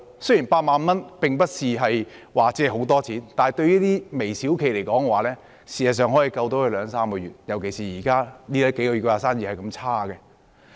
雖然8萬元並不是很多錢，但對於微小企而言，這筆錢事實上可以拯救他們兩三個月，尤其是這數個月的生意那麼差。